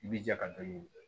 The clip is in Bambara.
I bi ja ka to yen